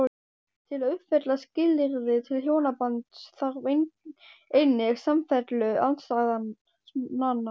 Til að uppfylla skilyrði til hjónabands þarf einnig samfellu andstæðnanna.